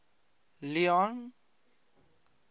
leone